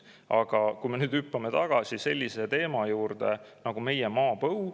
Aga hüppame tagasi sellise teema juurde nagu meie maapõu.